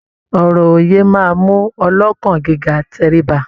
Ọ̀rọ̀ òye máa mú ọlọ́kàn gíga tẹríba.